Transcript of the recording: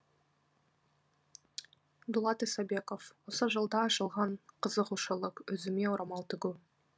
дулат исабеков осы жылда ашылған қызығушылық өзіме орамал тігу